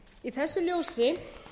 í þessu ljósi